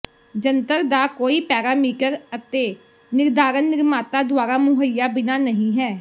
ਜੰਤਰ ਦਾ ਕੋਈ ਪੈਰਾਮੀਟਰ ਅਤੇ ਨਿਰਧਾਰਨ ਨਿਰਮਾਤਾ ਦੁਆਰਾ ਮੁਹੱਈਆ ਬਿਨਾ ਨਹੀ ਹੈ